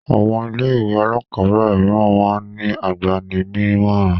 Àwọn ilé-ìwé alákọ̀ọ́bẹ̀rẹ̀ mìíràn máa ń ní agbani-nímọ̀ràn.